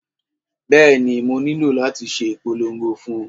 Bẹ́ẹ̀ni, mo nílò láti ṣe ìpolongo fún un